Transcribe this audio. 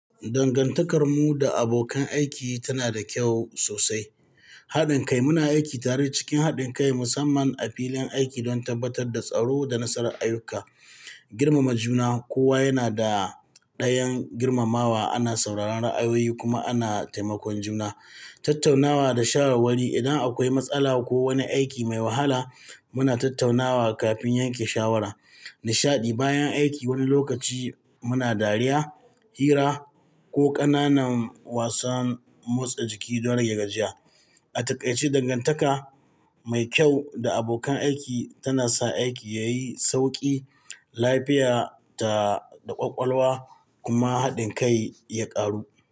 Dangantakarmu da abokan aiki tana da kyau sosai. Haɗin kai, muna aiki tare cikin haɗin kai, musamman a filin aiki don tabbatar da tsaro da nasarar ayyuka. Girmama juna, kowa yana da ɗayan girmamawa, ana sauraron ra'ayoyi kuma ana taimakon juna. Tattaunawa da shawarwari, idan akwai matsala ko wani aiki mai wahala, muna tattaunawa kafin yanke shawara. Nishaɗi, bayan aiki wani lokaci muna dariya, hira ko ƙananan wasan motsa jiki don rage gajiya. A takaice, dangantaka mai kyau da abokan aiki tana sa aiki yayi sauƙi, lafiya da ƙwaƙwalwa kuma haɗin kai ya ƙaru.